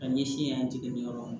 A ɲɛsin an tɛ yɔrɔ min na